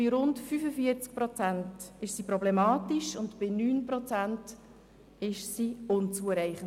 Bei rund 45 Prozent ist der Wert problematisch, und bei 9 Prozent ist die Kompetenz unzureichend.